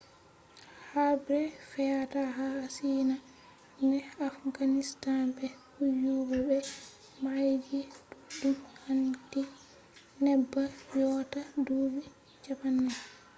habre fe’ata ha ashiya ne afganistan be kuyuba be baeji ɗuɗɗum handi neɓa yotta duuɓi 40